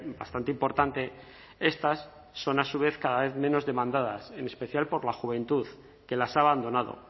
bastante importante estas son a su vez cada vez menos demandadas en especial por la juventud que las ha abandonado